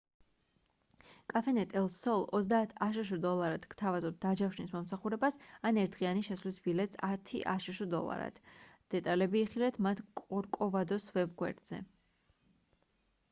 cafenet el sol 30 აშშ დოლარად გთავაზობთ დაჯავშნის მომსახურებას ან ერთდღიანი შესვლის ბილეთს 10 აშშ დოლარად დეტალები იხილეთ მათ კორკოვადოს ვებ გვერდზე